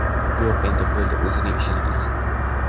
Yo‘q, endi bo‘ldi, o‘zini ishini qilsin.